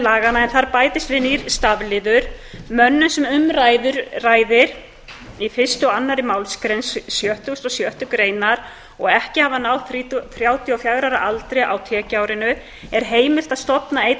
laganna bætist nýr stafliður svohljóðandi mönnum sem um ræðir í fyrstu og annarri málsgrein sextugustu og sjöttu greinar og ekki hafa náð þrjátíu og fjögurra ára aldri á tekjuárinu er heimilt að stofna einn